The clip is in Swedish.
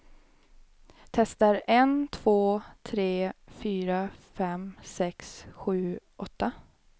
Testar en två tre fyra fem sex sju åtta.